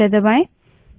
अब एंटर दबायें